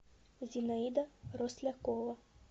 зинаида рослякова